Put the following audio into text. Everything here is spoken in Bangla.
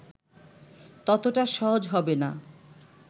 ততটা সহজ হবে না